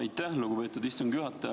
Aitäh, lugupeetud istungi juhataja!